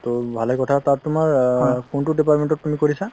টো ভালে কথা, তাত তোমাৰ অ কোনটো department ত তুমি কৰিছা?